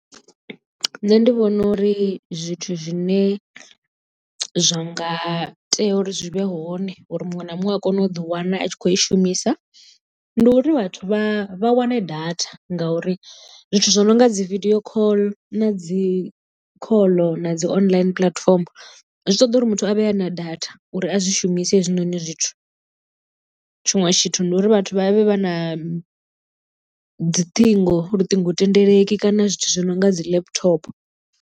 Nṋe ndi vhona uri zwithu zwine zwa nga tea uri zwi vhe hone uri muṅwe na muṅwe a kone u ḓi wana a tshi khou i shumisa ndi uri vhathu vha wane data ngauri zwithu zwi no nga dzi vidio call na dzi khoḽo na dzi online puḽatifomo zwi ṱoḓa uri muthu a vhe a na data uri a zwi shumise hezwinoni zwithu tshiṅwe tshithu ndi uri vhathu vha vhe vha na dziṱhingo luṱingo thendeleki kana zwithu zwi no nga dzi laptop.